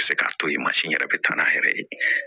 A bɛ se k'a to yen mansin yɛrɛ bɛ taa n'a yɛrɛ ye